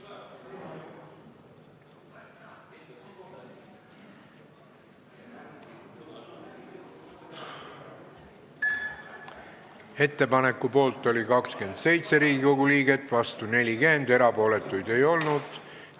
Hääletustulemused Ettepaneku poolt oli 27 Riigikogu liiget, vastu 40, erapooletuid ei olnud.